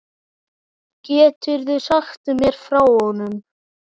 Geturðu sagt mér frá honum?